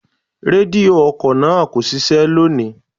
Rédíò ọkọ̀ náà kò ṣiṣẹ́ lónìí.